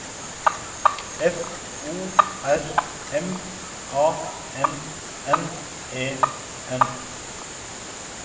F O R M A N N E N